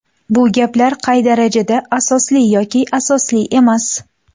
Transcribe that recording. Bu gaplar qay darajada asosli yoki asosli emas?